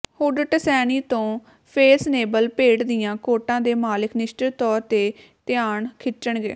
hood Tuscany ਤੋਂ fashionable ਭੇਡ ਦੀਆਂ ਕੋਟਾਂ ਦੇ ਮਾਲਕ ਨਿਸ਼ਚਤ ਤੌਰ ਤੇ ਧਿਆਨ ਖਿੱਚਣਗੇ